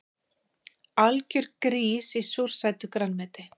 Algjör grís í súrsætu grænmeti